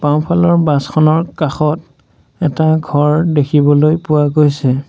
বাওঁফালৰ বাছখনৰ কাষত এটা ঘৰ দেখিবলৈ পোৱা গৈছে।